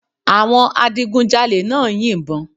Àwọn adigunjalè náà ń yìnbọn